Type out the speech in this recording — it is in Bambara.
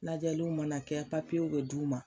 Lajɛliw mana kɛ papiyew bɛ d'u ma